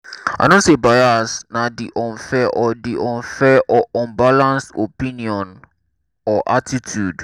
i know say bias na di unfair or di unfair or unbalanced opinion or attitude.